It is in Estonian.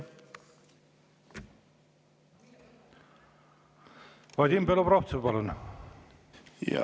Vadim Belobrovtsev, palun!